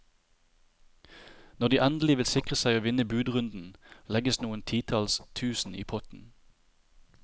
Når de endelig vil sikre seg å vinne budrunden, legges noen titalls tusen i potten.